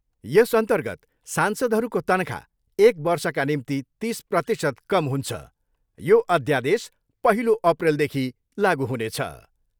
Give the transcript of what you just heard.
यस अन्तर्गत सांसदहरूको तनखा एक वर्षका निम्ति तिस प्रतिशत कम हुछ। यो अध्यादेश पहिलो अप्रिलदेखि लागु हुनेछ।